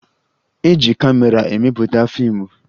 E ji kamera emepụta fiimụ